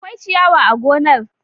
Akwai ciyawa a gonar.